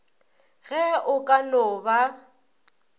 ge o ka no ba